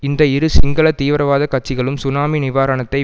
இந்த இரு சிங்கள தீவிரவாத கட்சிகளும் சுனாமி நிவாரணத்தை